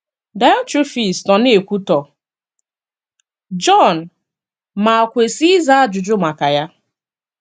Daịọtrefis nọ na - ekwutọ Jọn ma kwesị ịza ajụjụ maka ya.